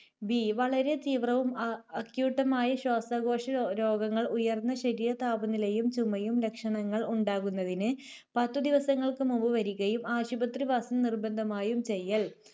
B വളരെ തീവ്രവും അ~ acute മായ ശ്വാസകോശ രോ~രോഗങ്ങൾ ഉയർന്ന ശരീരതാപനിലയും ചുമയും ലക്ഷണങ്ങൾ ഉണ്ടാകുന്നതിന് പത്തുദിവസങ്ങൾക്കുമുമ്പ് വരികയും ആശുപത്രിവാസം നിർബന്ധമായും ചെയ്യൽ.